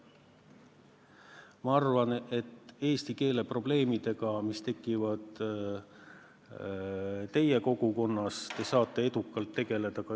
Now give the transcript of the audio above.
Ma arvan, et eesti keele probleemidega, mis tekivad teie kogukonnas, te saate edukalt ise tegeleda.